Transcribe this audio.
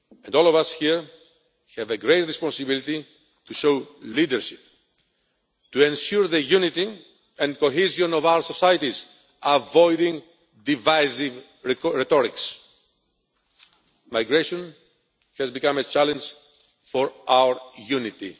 All of us here have a great responsibility to show leadership and to ensure the unity and cohesion of our societies, avoiding divisive rhetoric. Migration has become a challenge for our unity.